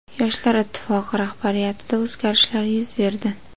Yoshlar Ittifoqi rahbariyatida o‘zgarishlar yuz berdi.